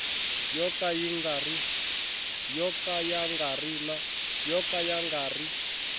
yo ka ya nga ri